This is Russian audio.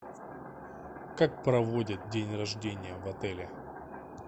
как проводят день рождения в отеле